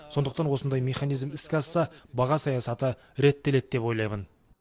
сондықтан осындай механизм іске асса баға саясаты реттеледі деп ойлаймын